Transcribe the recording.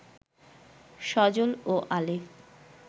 সজল ও আলিফ